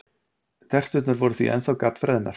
Terturnar voru því ennþá GADD-FREÐNAR!